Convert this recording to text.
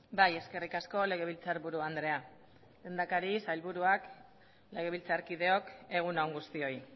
bai eskerrik asko legebiltzarburu andrea lehendakari sailburuak legebiltzarkideok egun on guztioi